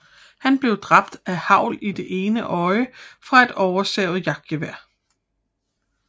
Han blev dræbt af hagl i det ene øje fra et oversavet jagtgevær